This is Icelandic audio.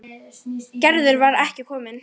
Gerður var ekki komin.